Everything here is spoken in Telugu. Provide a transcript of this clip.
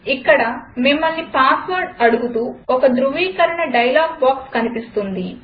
ఇక్కడ మిమ్మల్ని పాస్వర్డ్ అడుగుతూ ఒక ధృవీకరణ డైలాగ్ బాక్స్ కనిపిస్తుంది